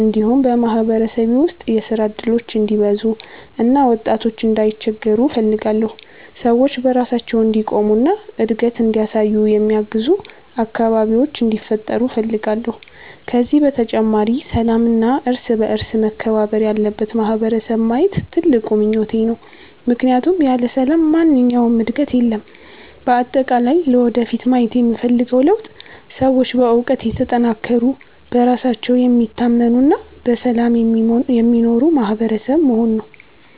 እንዲሁም በማህበረሰቤ ውስጥ የሥራ እድሎች እንዲበዙ እና ወጣቶች እንዳይቸገሩ እፈልጋለሁ። ሰዎች በራሳቸው እንዲቆሙ እና እድገት እንዲያሳዩ የሚያግዙ አካባቢዎች እንዲፈጠሩ እፈልጋለሁ። ከዚህ በተጨማሪ ሰላምና እርስ በእርስ መከባበር ያለበት ማህበረሰብ ማየት ትልቁ ምኞቴ ነው፣ ምክንያቱም ያለ ሰላም ማንኛውም ዕድገት የለም። በአጠቃላይ ለወደፊት ማየት የምፈልገው ለውጥ ሰዎች በእውቀት የተጠናከሩ፣ በራሳቸው የሚታመኑ እና በሰላም የሚኖሩ ማህበረሰብ መሆን ነው።